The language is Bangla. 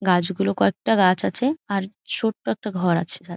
গাছ গুলো কয়েকটা গাছ আছে আর ছোট্ট একটা ঘর আছে সা--